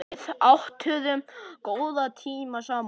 Við áttum góða tíma saman.